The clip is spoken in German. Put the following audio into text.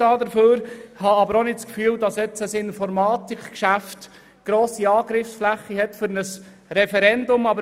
Ich glaube aber auch nicht, dass ein Informatikgeschäft eine grosse Angriffsfläche für ein Referendum bietet.